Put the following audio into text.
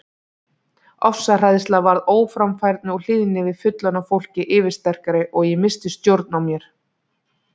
Ofsahræðsla varð óframfærni og hlýðni við fullorðna fólkið yfirsterkari og ég missti stjórn á mér.